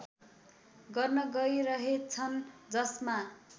गर्न गइरहेछन् जसमा